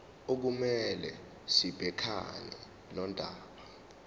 okumele sibhekane nodaba